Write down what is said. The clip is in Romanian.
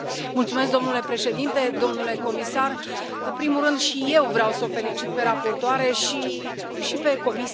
Domnule președinte, domnule comisar, în primul rând și eu vreau să o felicit pe raportoare și pe Comisie.